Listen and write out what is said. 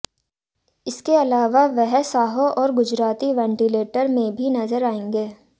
इसके अलावा वह साहो और गुजराती वेंटिलेटर में भी नजर आएंगे